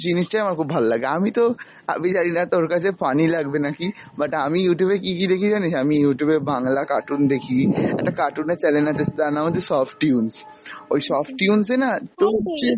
জিনিসটাই আমার খুব ভাললাগে, আমিতো আমি জানিনা তোর কাছে funny লাগবে নাকি but আমি Youtube এ কী কী দেখি জানিস! আমি Youtube এ বাংলা cartoon দেখি, একটা cartoon এর channel আছে তার নাম হচ্ছে softoons ওই softoons এ না তোর যে ।